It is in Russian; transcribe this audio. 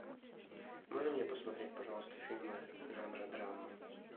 можно мне посмотреть пожалуйста фильмы жанра драма